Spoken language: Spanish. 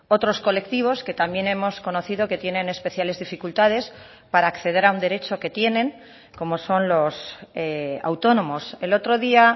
otros colectivos que también hemos conocido que tienen especiales dificultades para acceder a un derecho que tienen como son los autónomos el otro día